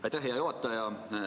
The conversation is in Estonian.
Aitäh, hea juhataja!